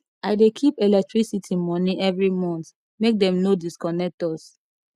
i dey keep electricity moni every month make dem no disconnect us